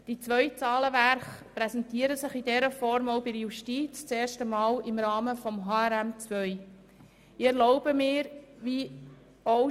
Die zwei Zahlenwerke VA 2018 und AFP 2019–2021 präsentieren sich in dieser Form auch der Justiz das erste Mal im Rahmen des Harmonisierten Rechnungslegungsmodells 2 (HRM2).